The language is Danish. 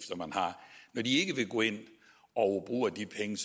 når de ikke vil gå ind og bruge af de penge